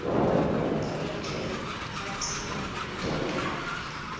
bemabhange latimele kanye